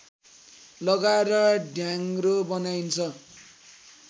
लगाएर ढ्याङ्ग्रो बनाइन्छ